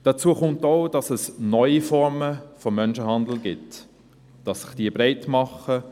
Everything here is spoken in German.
Dazu kommt auch, dass es neue Formen von Menschenhandel gibt, dass sich diese breit machen.